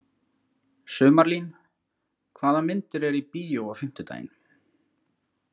Sumarlín, hvaða myndir eru í bíó á fimmtudaginn?